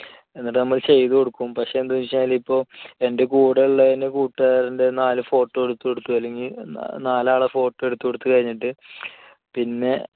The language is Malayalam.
എന്നിട്ടുനമ്മൾ ചെയ്തു കൊടുക്കും. പക്ഷെ എന്തെന്നുവെച്ചുകഴിഞ്ഞാൽ ഇപ്പം എന്റെ കൂടെയുള്ള എന്റെ കൂട്ടുകാരന്റെ നാല് photo എടുത്തുകൊടുത്തു അല്ലെങ്കിൽ നാലാളുടെ photo എടുത്തുകൊടുത്തു കഴിഞ്ഞിട്ട് പിന്നെ